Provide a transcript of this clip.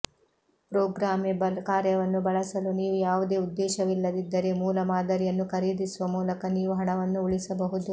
programmable ಕಾರ್ಯವನ್ನು ಬಳಸಲು ನೀವು ಯಾವುದೇ ಉದ್ದೇಶವಿಲ್ಲದಿದ್ದರೆ ಮೂಲ ಮಾದರಿಯನ್ನು ಖರೀದಿಸುವ ಮೂಲಕ ನೀವು ಹಣವನ್ನು ಉಳಿಸಬಹುದು